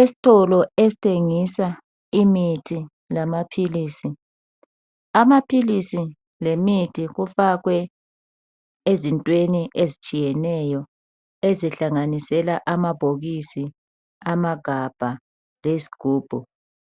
Esitolo esithengisa imithi lamaphilisi. Amaphilisi lemithi kufakwe ezintweni ezitshiyeneyo ezihlanganisela amabhokisi, amagabha lezigubhu.